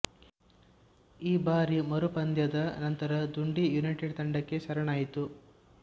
ಈ ಬಾರಿ ಮರುಪಂದ್ಯದ ನಂತರ ಡುಂಡಿ ಯುನೈಟೆಡ್ ತಂಡಕ್ಕೆ ಶರಣಾಯಿತು